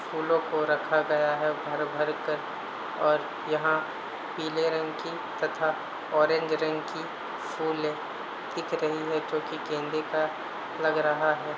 फूलो को रखा गया है। भर भर कर और यहाँ पिले रंग की तथा ऑरेंज रंग की फूल दिख रही है जो के गेंदे का लग रहा है।